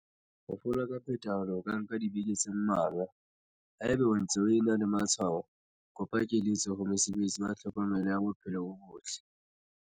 Ho fola ka phethahalo ho ka nka dibeke tse mmalwa. Haeba o ntse o ena le matshwao, kopa keletso ho mosebetsi wa tlhokomelo ya bophelo bo botle.